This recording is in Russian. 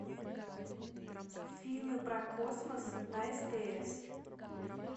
фильмы про космос на стс